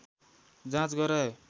जाँच गराए